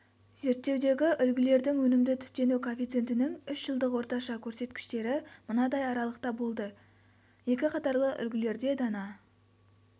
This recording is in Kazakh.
зерттеудегі үлгілердің өнімді түптену коэффициентінің үш жылдық орташа көрсеткіштері мынадай аралықта болды екі қатарлы үлгілерде дана